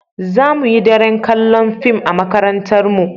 Za mu yi daren kalla'n fim a'makarantan mu.